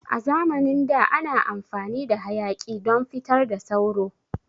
A zamanin da ana amfani da hayaƙi don fitar da sauro.